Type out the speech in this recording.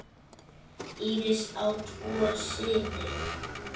Íris á tvo syni.